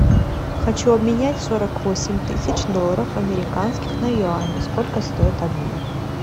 хочу обменять сорок восемь тысяч долларов американских на юани сколько стоит обмен